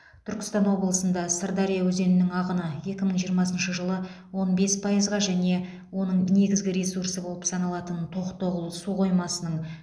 түркістан облысында сырдария өзенінің ағыны екі мың жиырмасыншы жылы он бес пайызға және оның негізгі ресурсы болып саналатын тоқтоғұл су қоймасының